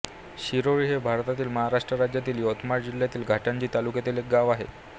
शिरोळी हे भारतातील महाराष्ट्र राज्यातील यवतमाळ जिल्ह्यातील घाटंजी तालुक्यातील एक गाव आहे